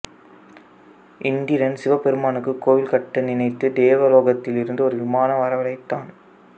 இந்திரன் சிவபெருமானுக்கு கோவில் கட்ட நினைத்து தேவலோகத்தில் இருந்து ஒரு விமானம் வரவழைத்தான்